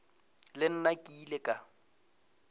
le nna ke ile ka